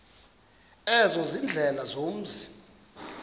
ezo ziindlela zomzi